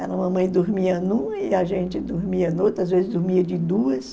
mamãe que dormia numa e a gente dormia noutra, às vezes dormia de duas.